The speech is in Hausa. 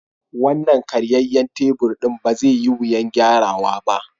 Wannan karyayyen tabur ɗin ba zai yi wuyan gyara wa ba.